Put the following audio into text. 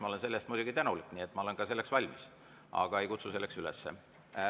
Ma olen selle eest muidugi tänulik, ma olen ka selleks valmis, aga ei kutsu selleks üles.